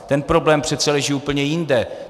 Ten problém leží přece úplně jinde.